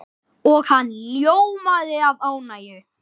Og hann ljómaði af ánægju.